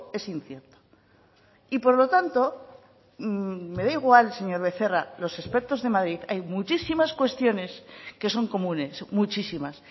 es incierto y por lo tanto me dan igual señor becerra los expertos de madrid hay muchísimas cuestiones que son comunes muchísimas